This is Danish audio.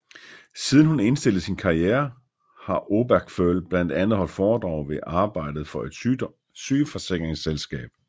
Siden hun indstillede sin karriere har Obergföll blandt andet holdt foredrag samt arbejdet for et sygeforsikringsselskab